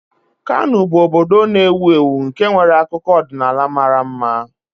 Kano bụ obodo na-ewu ewu nke nwere akụkọ ọdịnala mara mma